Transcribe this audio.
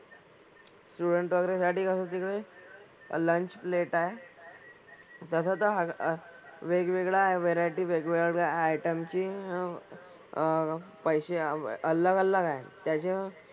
Student वगैरे साठी कसं तिकडे lunch plate आहे. तसं तर हा अह वेगवेगळ्या variety वेगवेगळ्या item ची अह पैसे अलग अलग आहे. त्याचे,